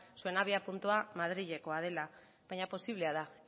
zuen abiapuntua madrilekoa dela baina posiblea da